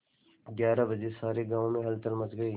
ग्यारह बजे सारे गाँव में हलचल मच गई